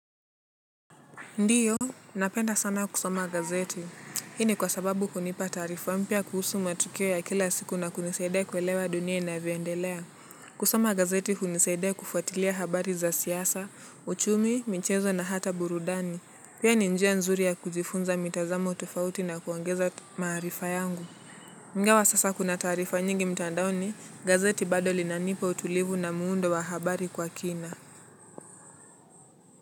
Ndiyo, napenda sana kusoma gazeti. Hii ni kwa sababu kunipa taarifa mpia kuhusu matukio ya kila siku na kunisaidea kuelewa dunia inavyoendelea. Kusoma gazeti hunisaidea kufuatilia habari za siasa, uchumi, mchezo na hata burudani. Pia ni njia nzuri ya kujifunza mitazamo tofauti na kuangeza maarifa yangu. Ingawa sasa kuna taarifa nyingi mtandaoni, gazeti bado linanipa utulivu na muundo wa habari kwa kina.